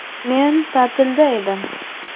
– Men ta’tilda edim.